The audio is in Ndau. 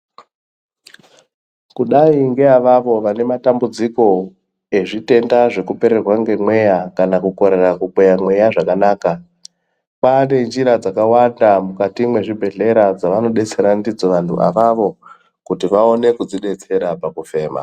Kudai nge avavo vane matambudziko ezvitenda zveku pererwe nge mweya kana ku korera ku kweya mweya zvakanaka kwane njira dzaka wanda mukati mwe zvibhedhlera dzavano betsera ndidzo vanhu avavo kuti vaone kudzi detsera pa kufema.